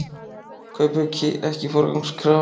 Kaupauki ekki forgangskrafa